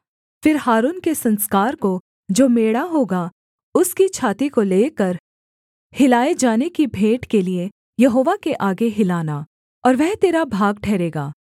फिर हारून के संस्कार को जो मेढ़ा होगा उसकी छाती को लेकर हिलाए जाने की भेंट के लिये यहोवा के आगे हिलाना और वह तेरा भाग ठहरेगा